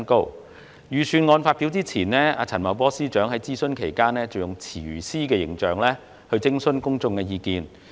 財政預算案發表前，陳茂波司長在諮詢期間以廚師形象徵詢公眾意見。